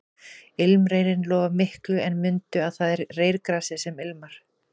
Ilmreyrinn lofar miklu en mundu að það er reyrgresið sem ilmar